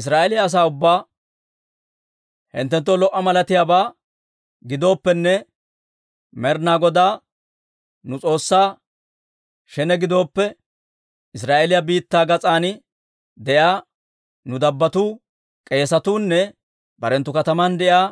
Israa'eeliyaa asaa ubbaa, «Hinttenttoo lo"a malatiyaabaa giddooppene, Med'inaa Godaa nu S'oossaa shene gidooppe, Israa'eeliyaa biittaa gas'an de'iyaa nu dabbotuu, k'eesatuu nne barenttu kataman de'iyaa